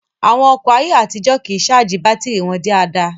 Àwọn ọkọ̀ ayé àtijó kìí ṣáàjì bátìrì wọn dáadáa